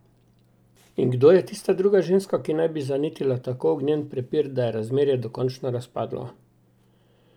In kdo je tista druga ženska, ki naj bi zanetila tako ognjen prepir, da je razmerje dokončno razpadlo?